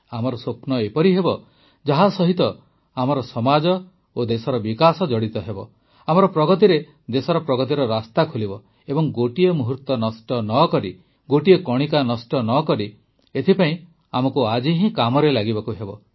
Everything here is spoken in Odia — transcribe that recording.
ଆମର ସ୍ୱପ୍ନ ଏପରି ହେବ ଯାହା ସହିତ ଆମର ସମାଜ ଓ ଦେଶର ବିକାଶ ଜଡ଼ିତ ହେବ ଆମର ପ୍ରଗତିରେ ଦେଶର ପ୍ରଗତିର ରାସ୍ତା ଖୋଲିବ ଏବଂ ଗୋଟିଏ ମୁହୂର୍ତ୍ତ ନଷ୍ଟ ନ କରି ଗୋଟିଏ କଣିକା ନଷ୍ଟ ନକରି ଏଥିପାଇଁ ଆମକୁ ଆଜି ହିଁ କାମରେ ଲାଗିବାକୁ ହେବ